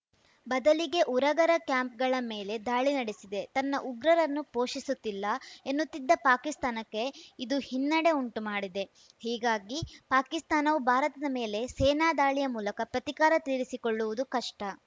ಬದಲಿಗೆ ಉರಗರ ಕ್ಯಾಂಪ್‌ಗಳ ಮೇಲೆ ದಾಳಿ ನಡೆಸಿದೆ ತನ್ನ ಉಗ್ರರನ್ನು ಪೋಷಿಸುತ್ತಿಲ್ಲ ಎನ್ನುತ್ತಿದ್ದ ಪಾಕಿಸ್ತಾನಕ್ಕೆ ಇದು ಹಿನ್ನಡೆ ಉಂಟುಮಾಡಿದೆ ಹೀಗಾಗಿ ಪಾಕಿಸ್ತಾನವು ಭಾರತದ ಮೇಲೆ ಸೇನಾ ದಾಳಿಯ ಮೂಲಕ ಪ್ರತೀಕಾರ ತೀರಿಸಿಕೊಳ್ಳುವುದು ಕಷ್ಟ